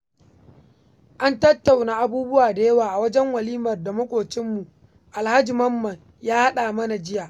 An tattauna abubuwa da yawa a walimar da maƙwabcinmu Alhaji Mamman ya haɗa mana jiya.